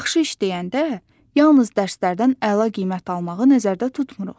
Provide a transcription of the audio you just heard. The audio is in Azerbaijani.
Yaxşı iş deyəndə, yalnız dərslərdən əla qiymət almağı nəzərdə tutmuruq.